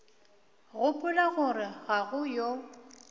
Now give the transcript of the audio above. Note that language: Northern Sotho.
gopola gore ga go yo